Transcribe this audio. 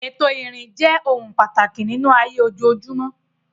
Ètò ìrìn jẹ́ ohun pàtàkì nínú ayé ojoojúmọ́.